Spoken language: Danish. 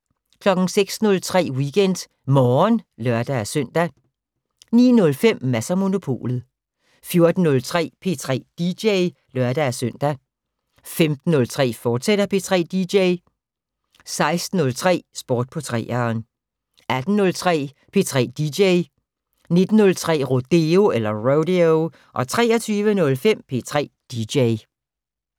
06:03: WeekendMorgen (lør-søn) 09:05: Mads & Monopolet 14:03: P3 dj (lør-søn) 15:05: P3 dj, fortsat 16:03: Sport på 3'eren 18:03: P3 dj 19:03: Rodeo 23:05: P3 dj